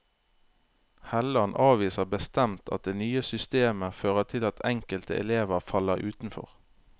Helland avviser bestemt at det nye systemet fører til at enkelte elever faller utenfor.